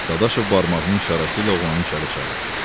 Dadaşov barmağının işarəsi ilə oğlanı içəri çağırdı.